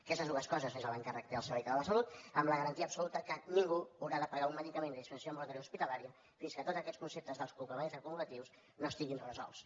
aquestes dues coses són l’encàrrec al servei català de la salut amb la garantia absoluta que ningú haurà de pagar un medicament de dispensació ambulatòria o hospitalària fins que tots aquests conceptes dels copagaments acumulatius no estiguin resolts